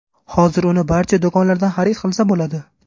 Hozir uni barcha do‘konlardan xarid qilsa bo‘ladi.